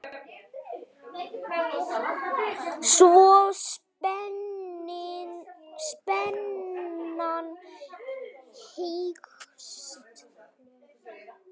Svo spennan eykst.